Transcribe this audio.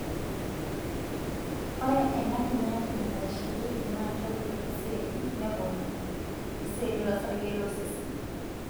Ore ena kinyati naitasheyioki na kebulu iseli (neponunye)iseli losarge losesen.